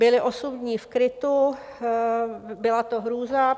Byli osm dní v krytu, byla to hrůza.